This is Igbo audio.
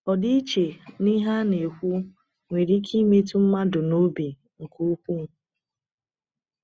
Ọdịiche n’ihe a na-ekwu nwere ike imetụ mmadụ n’obi nke ukwuu.